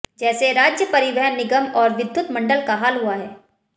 जैसे राज्य परिवहन निगम और विधुत मंडल का हाल हुआ है